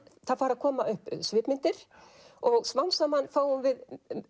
það fara að koma upp svipmyndir og smám saman fáum við